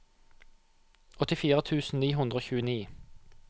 åttifire tusen ni hundre og tjueni